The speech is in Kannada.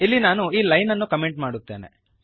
ಇಲ್ಲಿ ನಾನು ಈ ಲೈನನ್ನು ಕಮೆಂಟ್ ಮಾಡುತ್ತೇನೆ